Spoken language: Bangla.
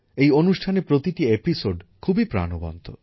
এই অনুষ্ঠানের প্রতিটি পর্ব খুবই প্রাণবন্ত